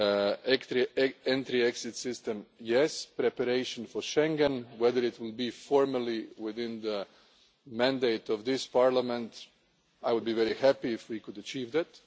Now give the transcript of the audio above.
us. The entry exit system, yes. Preparation for Schengen, whether it is formally within the mandate of this Parliament, I would be very happy if we could achieve